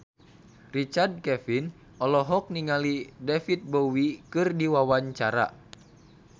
Richard Kevin olohok ningali David Bowie keur diwawancara